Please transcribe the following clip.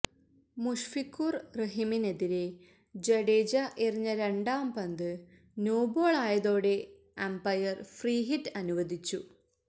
മുഷ്ഫിഖുര് റഹിമിനെതിരെ ജഡേജ എറിഞ്ഞ രണ്ടാം പന്ത് നോബോളായതോടെ അംപയര് ഫ്രീഹിറ്റ് അനുവദിച്ചു